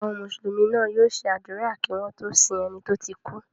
Àwọn Mùsùlùmí náà yóò ṣe àdúrà kí wọ́n tó sin ẹni tó ti kú.